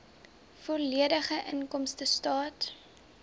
volledige inkomstestaat